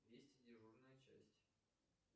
вести дежурная часть